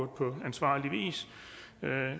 på ansvarlig vis